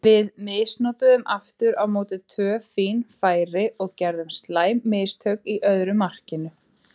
Við misnotuðum aftur á móti tvö fín færi og gerðum slæm mistök í öðru markinu.